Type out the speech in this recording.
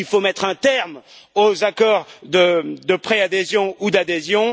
Il faut mettre un terme aux accords de préadhésion ou d'adhésion.